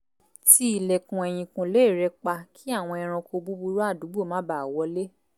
ti ilẹ̀kùn ẹ̀yìkùlé rẹ̀ pa kí àwọn ẹranko búbúrú àdùúgbò má bàa wọlé